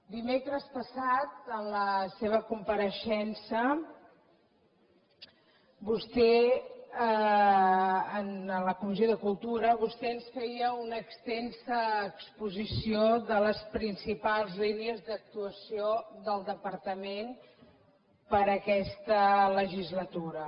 dimecres passat en la seva compareixença en la comissió de cultura vostè ens feia una extensa exposició de les principals línies d’actuació del departament per a aquesta legislatura